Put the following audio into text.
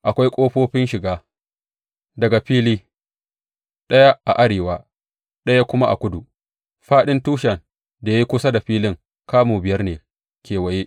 Akwai ƙofofin shiga daga fili, ɗaya a arewa ɗaya kuma a kudu; fāɗin tushen da ya yi kusa da filin kamu biyar ne kewaye.